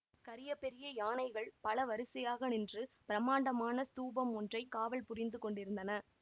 கரிய பெரிய யானைகள் பலவரிசையாக நின்று பிரமாண்டமான ஸ்தூபம் ஒன்றை காவல் புரிந்து கொண்டிருந்தன